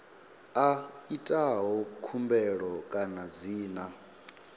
a itaho khumbelo kana dzina